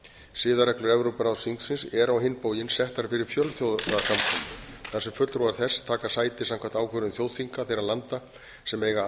siðareglur evrópuráðsþingsins eru á hinn bóginn settar fyrir fjölþjóðasamkomur þar sem fulltrúar þess taka sæti samkvæmt ákvörðun þjóðþinga þeirra landa sem eiga